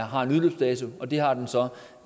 har en udløbsdato og det har den så